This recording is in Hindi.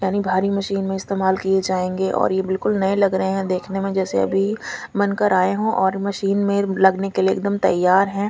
यानी भारी मशीन में स्तेमाल किये जायगे और ये बिलकुल नये लग रहे है देखने में जैसे अभी बन कर आये हो और मशीन में लगने के लिये एक दम तैयार है।